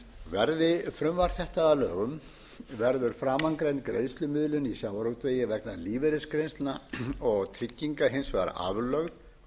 verði frumvarp þetta að lögum verður framangreind greiðslumiðlun í sjávarútvegi vegna lífeyrisgreiðslna og trygginga hins vegar aflögð